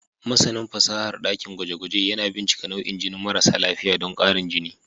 Masanin fasahar dakin gwaje-gwaje yana bincika nau'in jinin marasa lafiya don ƙarin jini.